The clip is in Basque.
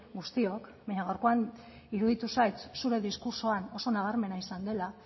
guztiok baina gaurkoan iruditu zait zure diskurtsoan oso nabarmena izan dela